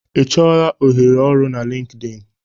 Ị chọọla ohere ọrụ na LinkedIn?